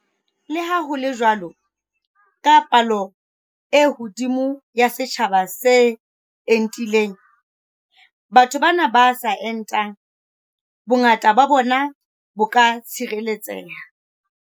Le ha ho le jwalo, ka palo e hodimo ya setjhaba se entileng, batho bana ba sa entang, bongata ba bona bo ka tshireletseha.